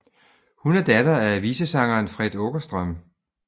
Hun er datter af visesangeren Fred Åkerström